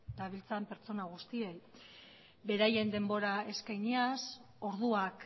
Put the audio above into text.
dabiltzan pertsona guztiei beraien denbora eskainiaz orduak